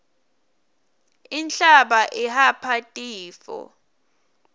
inhlaba ihapha tifo